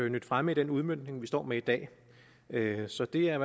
nydt fremme i den udmøntning vi står med i dag så det er